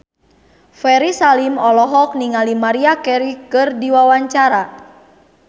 Ferry Salim olohok ningali Maria Carey keur diwawancara